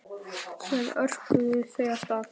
Síðan örkuðu þau af stað.